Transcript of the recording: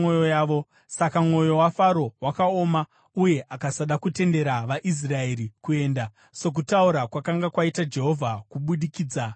Saka mwoyo waFaro wakaoma uye akasada kutendera vaIsraeri kuenda, sokutaura kwakanga kwaita Jehovha kubudikidza naMozisi.